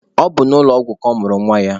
Ọ bụ n'ụlọ ọgwụ ka ọ mụrụ nwa ya.